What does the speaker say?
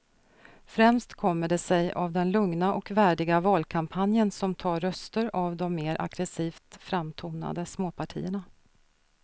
Främst kommer det sig av den lugna och värdiga valkampanjen som tar röster av de mer aggresivt framtonade småpartierna.